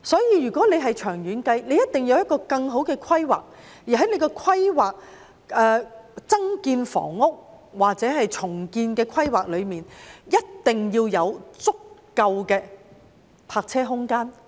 因此，長遠而言，一定要有更好的規劃，而在規劃增建房屋或進行重建時，一定要包括足夠的泊車空間。